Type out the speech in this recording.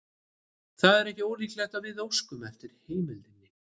Það er ekki ólíklegt að við óskum eftir heimildinni.